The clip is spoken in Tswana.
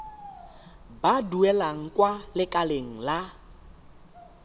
ba duelang kwa lekaleng la